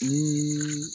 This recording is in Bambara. Ni